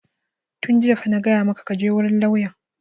Tun jiya fa na gaya maka ka je wurin lauyan!